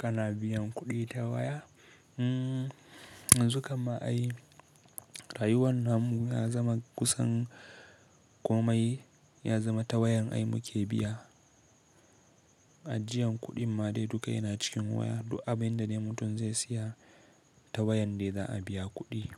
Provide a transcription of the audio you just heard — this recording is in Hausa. Kana biyan kuɗi ta waya? Mm, yanzu kamma ai rayuwar namu ya zama kusan komai ya zama ta wayan ai muke biya. Ajiyan kuɗin ma dai duk yana cikin waya. Du abinda dai mutum zai siya ta wayan dai za a biya kuɗi.